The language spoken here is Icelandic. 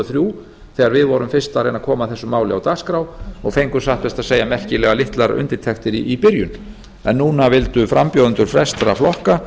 þrjú þegar við vorum fyrst að reyna að koma þessu máli á dagskrá og fengum satt best að segja merkilega litlar undirtektir í byrjun en núna vildu frambjóðendur flestra flokka